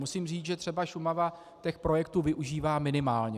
Musím říct, že třeba Šumava těch projektů využívá minimálně.